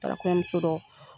N tara kɔɲɔmuso dɔ